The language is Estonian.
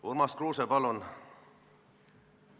Urmas Kruuse, palun!